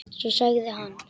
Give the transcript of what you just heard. Svo sagði hann